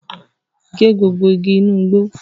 Gé gbogbo igi inu igbó!